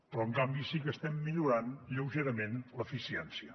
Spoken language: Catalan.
però en canvi sí que estem millorant lleugerament l’eficiència